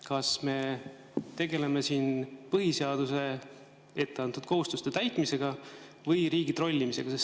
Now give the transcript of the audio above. Kas me tegeleme siin põhiseaduses etteantud kohustuste täitmisega või riigi trollimisega?